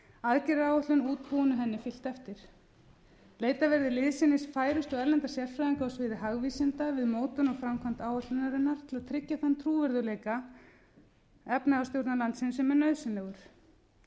aðgerðaáætlun útbúin og henni fylgt eftir leitað verði liðsinnis færustu erlendra sérfræðinga á sviði hagvísinda við mótun og framkvæmd áætlunarinnar til að tryggja þann trúverðugleika efnahagsstjórnar landsins sem er nauðsynlegur